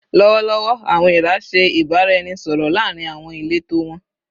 Lọwọlọwọ, "awọn eera" ṣe ibaraẹnisọrọ laarin awọn ileto wọn